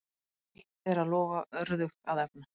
Auðvelt er að lofa, örðugt að efna.